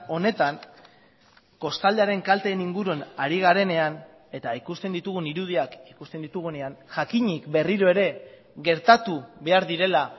honetan kostaldearen kalteen inguruan ari garenean eta ikusten ditugun irudiak ikusten ditugunean jakinik berriro ere gertatu behar direla